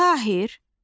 Tahir